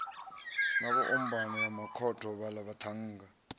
ombana ya makhotho vhaḽa vhaṱhannga